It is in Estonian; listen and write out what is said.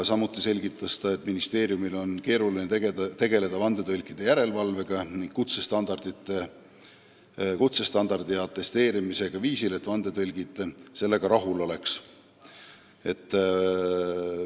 Samuti selgitas ta, et ministeeriumil on keeruline tegeleda vandetõlkide järelevalvega ning nende kutsestandardi ja atesteerimisega sellisel viisil, et vandetõlgid sellega rahul oleks.